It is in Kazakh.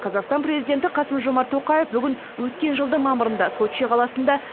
қазақстан президенті қасым жомарт тоқаев бүгін өткен жылдың мамырында сочи қаласында